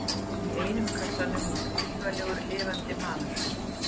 Í einum kassanum var vígalegur lifandi maður.